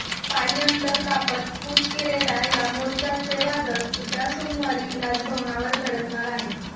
पायी अंतर कापत कूच केलेल्या या मोर्चाचे वादळ उद्या सोमवारी राजभवनावर धडकणार आहे